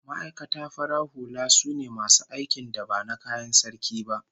Ma'aikata farar hula sune masu aikin da ba na kayan Sarki ba